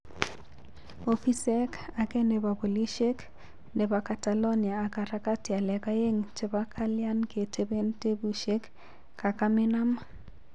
Ofisek age nepo polishek nepo catalonia ak harakati alak aegn chepo kalian ketepen tepushek kakaminam